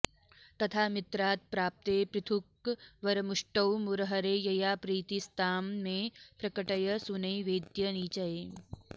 तथा मित्रात्प्राप्ते पृथुकवरमुष्टौ मुरहरे यया प्रीतिस्तां मे प्रकटय सुनैवेद्यनिचये